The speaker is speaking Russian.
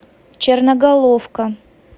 черноголовка